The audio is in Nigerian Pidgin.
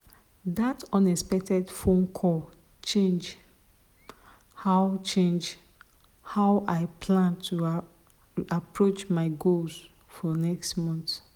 that unexpected phone call change how change how i plan to approach my goals for next month.